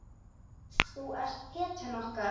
Þú ert hetjan okkar.